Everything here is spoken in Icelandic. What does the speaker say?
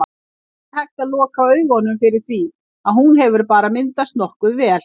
Ekki hægt að loka augunum fyrir því að hún hefur bara myndast nokkuð vel.